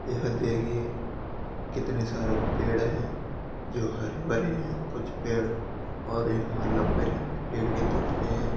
यहाँ देखिये कितने सारे पेड है जो हरे भरे है कुछ पेड और यहां लम्बे लम्बी पेड भी दिख रहे है।